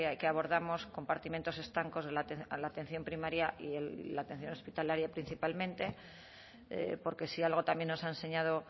que abordamos compartimentos estancos a la atención primaria y la atención hospitalaria principalmente porque si algo también nos ha enseñado